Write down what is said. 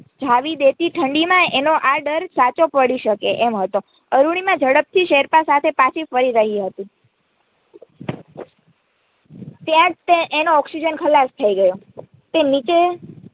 થીજાવી દેતી ઠંડીમાં એનો આ ડર સાચો પડી શકે એમ હતો અરૂણિમા ઝડપથી શેરપા સાથે પાછી ફરી રહ્યી હતી ત્યાંજ એનો oxygen ખલાસ થઈ ગયો તે નીચે